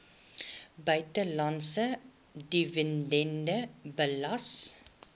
buitelandse dividende belas